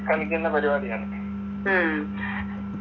കളിക്കുന്ന പരിപാടിയാണ്